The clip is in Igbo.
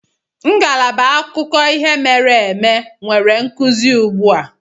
Ngalaba akụkọ ihe mere eme nwere nkuzi ugbu a.